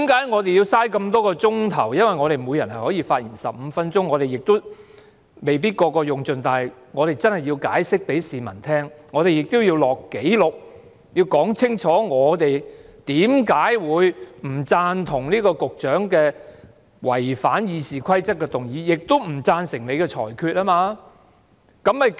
我們要花這麼多個小時討論，因為我們每人可以發言15分鐘，雖然我們每人未必會用盡這15分鐘，但我們真的要解釋給市民聽，我們亦要記錄在案，要說清楚我們為何會不贊同局長違反《議事規則》的議案，亦不贊成你的裁決。